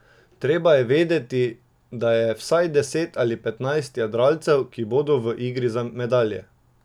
Treba je vedeti, da je vsaj deset ali petnajst jadralcev, ki bodo v igri za medalje.